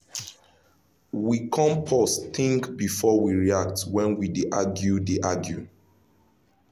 we con pause think before we react when we dey argue dey argue